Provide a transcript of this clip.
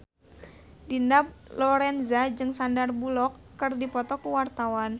Dina Lorenza jeung Sandar Bullock keur dipoto ku wartawan